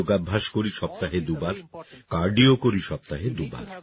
আমি যোগাভ্যাস করি সপ্তাহে দুবার কার্ডিও করি সপ্তাহে দুবার